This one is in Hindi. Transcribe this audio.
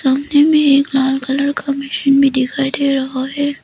ओने में एक लाल कलर का मशीन भी दिखाई दे रहा है।